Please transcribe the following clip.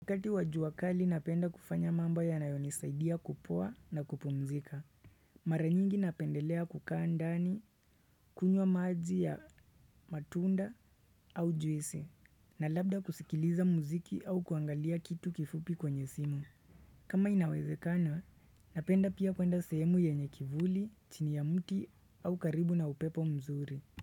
Wakati wa jua kali napenda kufanya mambo yanayonisaidia kupoa na kupumzika. Mara nyingi napendelea kukaa ndani kunywa maji ya matunda au juisi. Na labda kusikiliza mziki au kuangalia kitu kifupi kwenye simu. Kama inawezekana, napenda pia kwenda sehemu yenye kivuli, chini ya mti au karibu na upepo mzuri.